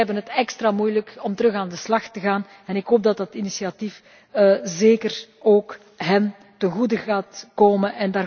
Zij hebben het extra moeilijk om weer aan de slag te gaan en ik hoop dat dit initiatief zeker ook hen ten goede gaat komen.